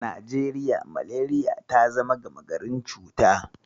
A Najeriya, Malariya ta zama gama garin cuta.